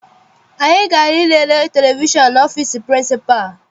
Anyị gara I lele televishọn n'ọfịịsi pịrịnsịpalụ.